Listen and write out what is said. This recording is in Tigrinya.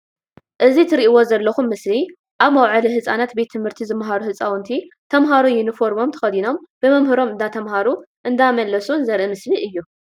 እዚ ትርኢዎ ዘለኩም ምስሊ ኣብ መውዓሊ ህፃናት ቤት ትምህርቲ ዝማሃሩ ህፃውንቲ ተማሃሮ ዩኒፎርሞም ተከዲኖም ብመምህሮም እንዳተማሃሩ እንዳመለሱን ዘርኢ ምስሊ እዩ።